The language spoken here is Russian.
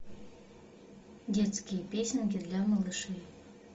детские песенки для малышей